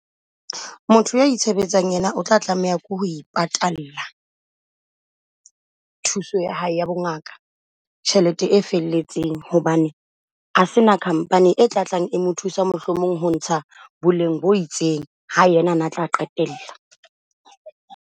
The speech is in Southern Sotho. Motho a itshebetsang yena o tla tlameha ke ho patalla thuso ya hae ya bongaka tjhelete e felletseng hobane ha se na company e tla tlang mo thusa mohlomong ho ntsha boleng bo itseng. Ha yena a na tla qetella.